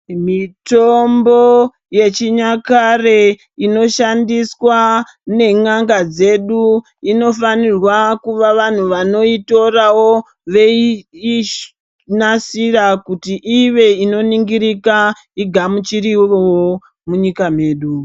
Mitombo yechinyakare inoshandiswa nen'anga dzedu inofanirwa kuva vanhu vanoitorawo veinasira kuti ive inoningirika igamuchirirewo munyika medu.